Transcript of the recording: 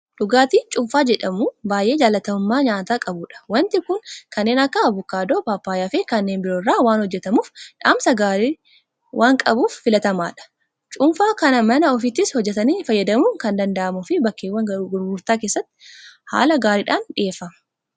Dhugaatiin cuunfaa jedhamu baay'ee jaalatamummaa nyaata qabudha. waanti kun kanneen akka abukaadoo, paappaayyaafi kanneen biroo irraa waan hojjetamuuf dhamsa gaarii waan qabuuf filatamaadha. Cuunfaa kana mana ofiittis hojjetatanii fayyadamuun kan danda'amuu fi bakkeewwan gurgurtaa isaattis haala gaariidhaan dhiyeeffama.